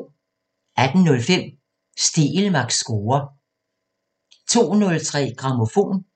18:05: Stegelmanns score 02:03: Grammofon